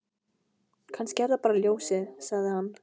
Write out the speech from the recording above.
Kannski er það bara ljósið, sagði hann.